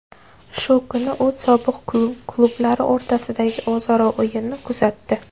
Shu kuni u sobiq klublari o‘rtasidagi o‘zaro o‘yinni kuzatdi.